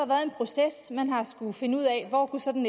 været en proces man har skullet finde ud af hvor sådan